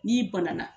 N'i banana